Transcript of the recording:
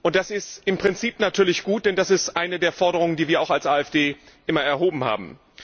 Das ist im Prinzip natürlich gut, denn das ist eine der Forderungen, die wir auch als AfD immer erhoben haben.